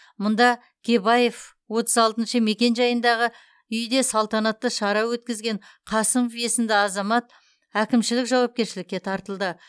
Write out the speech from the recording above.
мұнда кебаев отыз алтыншы мекенжайындағы үйде салтанатты шара өткізген қасымов есімді азамат әкімшілік жауапкершілікке тартылды